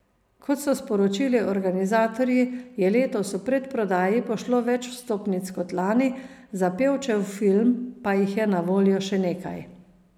Kot so sporočili organizatorji, je letos v predprodaji pošlo več vstopnic kot lani, za Pevčev film pa jih je na voljo še nekaj.